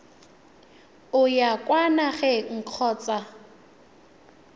o ya kwa nageng kgotsa